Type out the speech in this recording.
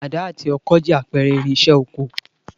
Àdá àti ọkọ jẹ́ àpẹrẹ irinsẹ́ oko